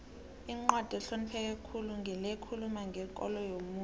incwadi ehlonipheke khulu ngile ekhuluma ngekolo yomuntu